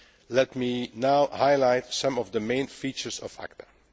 Let me now highlight some of the main features of ACTA.